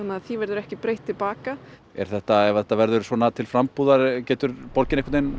því verður ekki breytt til baka ef þetta ef þetta verður svona til frambúðar getur borgin